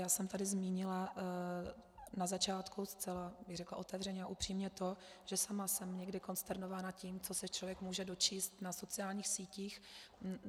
Já jsem tady zmínila na začátku, zcela bych řekla otevřeně a upřímně, to, že sama jsem někdy konsternována tím, co se člověk může dočíst na sociálních sítích.